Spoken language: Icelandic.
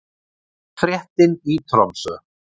Fréttin í Tromsö